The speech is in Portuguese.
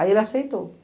Aí ele aceitou.